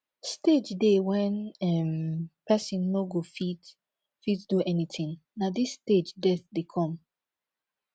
stage dey when um person no go fit fit do anything na this stage death dey come